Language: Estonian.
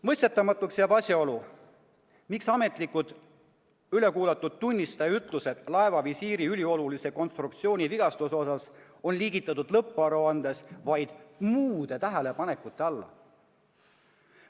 Mõistetamatuks jääb asjaolu, miks ametlikult ülekuulatud tunnistaja ütlused laevavisiiri üliolulise konstruktsiooni vigastuse kohta on liigitatud lõpparuandes vaid muude tähelepanekute alla.